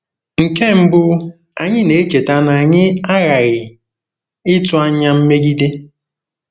Nke mbụ, anyị na-echeta na anyị aghaghị ịtụ anya mmegide.